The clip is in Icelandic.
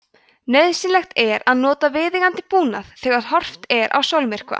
nauðsynlegt er að nota viðeigandi búnað þegar horft er á sólmyrkva